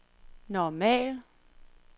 normal